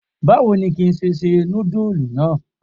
Báwo ni ki ṣe se nudulu náà?